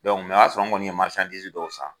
o y'a sɔrɔ nkɔni ye dɔw san.